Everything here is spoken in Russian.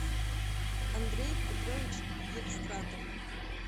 андрей петрович евстратов